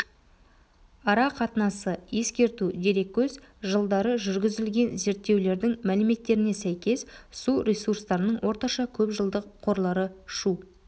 ара қатынасы ескерту дереккөз жылдары жүргізілген зерттеулердің мәліметтеріне сәйкес су ресурстарының орташа көпжылдық қорлары шу